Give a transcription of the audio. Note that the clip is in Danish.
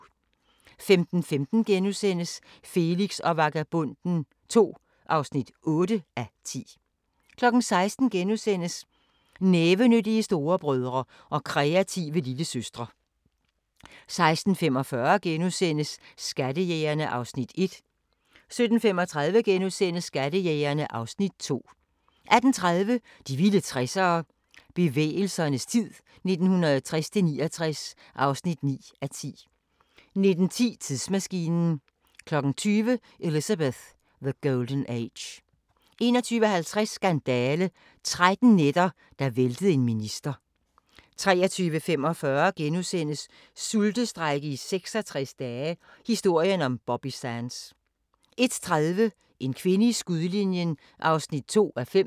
15:15: Felix og Vagabonden II (8:10)* 16:00: Nævenyttige storebrødre og kreative lillesøstre * 16:45: Skattejægerne (Afs. 1)* 17:35: Skattejægerne (Afs. 2)* 18:30: De vilde 60'ere: Bevægelsernes tid 1960-69 (9:10) 19:10: Tidsmaskinen 20:00: Elizabeth: The Golden Age 21:50: Skandale – 13 nætter, der væltede en minister 23:45: Sultestrejke i 66 dage – historien om Bobby Sands * 01:30: En kvinde i skudlinjen (2:5)